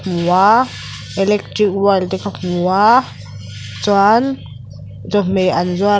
hmu a electric wire te ka hmu a chuan chawhmeh an zuar--